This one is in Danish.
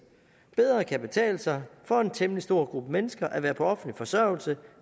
bedre kan betale sig for en temmelig stor gruppe mennesker at være på offentlig forsørgelse